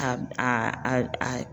A a a a